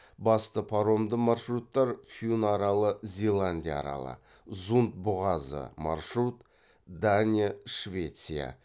басты паромды маршруттар фюн аралы зеландия аралы зунд бұғазы